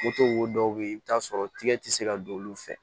wo dɔw be yen i bi t'a sɔrɔ tigɛ ti se ka don olu fɛ